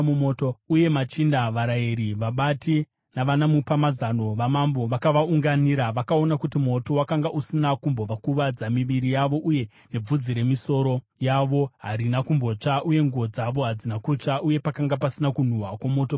uye machinda, varayiri, vabati navanamupamazano vamambo vakavaunganira. Vakaona kuti moto wakanga usina kumbokuvadza miviri yavo, uye nebvudzi remisoro yavo harina kumbotsva; uye nguo dzavo hadzina kutsva, uye pakanga pasina kunhuhwa kwomoto pavari.